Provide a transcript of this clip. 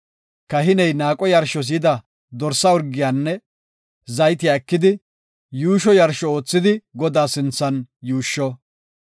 Kahiney naaqo yarshos yida dorsa urgiyanne zaytiya ekidi, yuusho yarsho oothidi Godaa sinthan yuushsho.